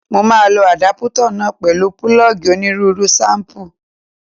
Mo máa lo àdápútà náà pẹ̀lú púlọ́ọ̀gì onírúurú ṣéìpù